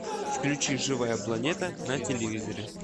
включи живая планета на телевизоре